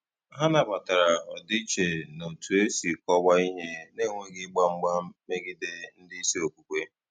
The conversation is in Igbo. Hà nabatara ọdịiche n’otú e si kọwaa ihe, na-enweghị ịgba mgba megide ndị isi okwukwe.